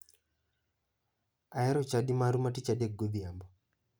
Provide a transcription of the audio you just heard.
Ahero chadi maru ma tich adek godhiambo.